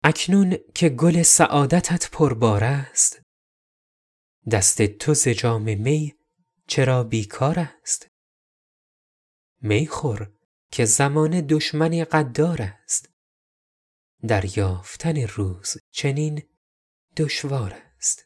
اکنون که گل سعادتت پربار است دست تو ز جام می چرا بیکار است می خور که زمانه دشمنی غدار است دریافتن روز چنین دشوار است